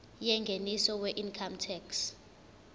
yengeniso weincome tax